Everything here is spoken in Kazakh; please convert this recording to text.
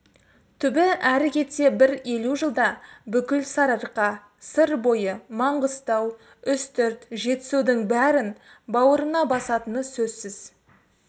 түбі әрі кетсе бір елу жылда бүкіл сарыарқа сыр бойы маңғыстау үстірт жетісудың бәрін бауырына басатыны сөзсіз